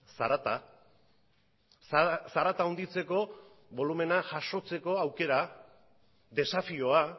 zarata zarata handitzeko bolumena jasotzeko aukera desafioa